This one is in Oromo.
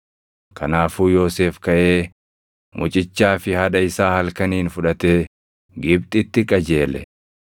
Kanaafuu Yoosef kaʼee mucichaa fi haadha isaa halkaniin fudhatee Gibxitti qajeele;